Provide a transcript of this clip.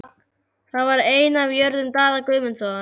Það var ein af jörðum Daða Guðmundssonar.